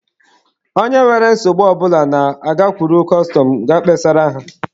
Onye nwere nsogbu ọ bụla na-agakwuru kọstọma kịa kpesara ha.